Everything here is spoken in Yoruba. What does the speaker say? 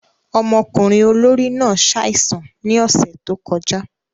Ọmọkunrin olori náà ṣaisan ni ọsẹ to kọja.